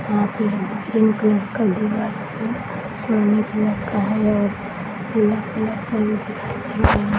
यहां पर blue colour का दीवार है आसमानी कलर का है यह ब्लू कलर का भी दिखाई दे रहा है।